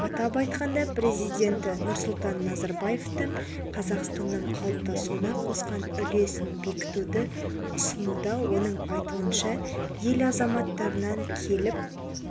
атап айтқанда президенті нұрсұлтан назарбаевтың қазақстанның қалыптасуына қосқан үлесін бекітуді ұсынуда оның айтуынша ел азаматтарынан келіп